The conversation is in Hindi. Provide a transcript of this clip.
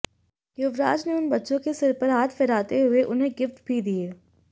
युवराज ने उन बच्चों के सिर पर हाथ फिराते हुए उन्हें गिफ्ट भी दिए